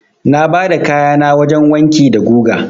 Na bada kayana wajen wanki da guga.